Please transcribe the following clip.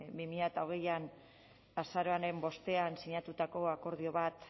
bi mila hogeian azaroaren bostean sinatutako akordio bat